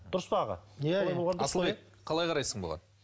дұрыс па аға иә иә асылбек қалай қарайсың бұған